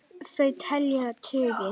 Þau telja tugi.